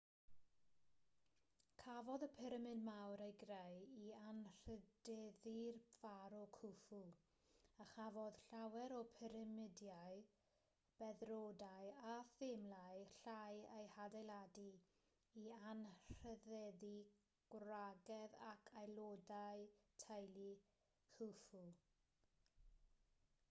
cafodd y pyramid mawr ei greu i anrhydeddu'r pharo khufu a chafodd llawer o'r pyramidiau beddrodau a themlau llai eu hadeiladu i anrhydeddu gwragedd ac aelodau teulu khufu